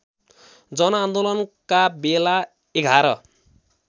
जनआन्दोलनका बेला ११